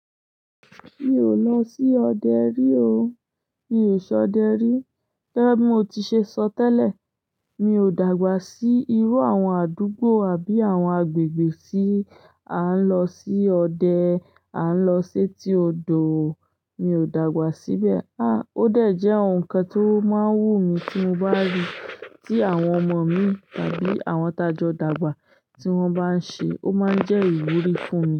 Mi ò lọ sí ọdẹ rí o. Mi ò ṣọdẹ rí. Gẹ́gẹ́ bí mo ti ṣe sọ tẹ́lẹ̀, mi ò dàgbà sí irú àwọn àdúgbò àbí àwọn agbègbè tí à ń lọ sí ọdẹ, à ń lọ sé ti odò. Mi ò dàgbà síbẹ̀. À, ó dàjẹ́ ohun kan tó máa ń wú mi tí mo bá rí tí àwọn ọmọ min tàbí àwọn tajọ dàgbà tí wọ́n bá ń ṣe, ó máa ń jẹ́ ìwúrí fún mi.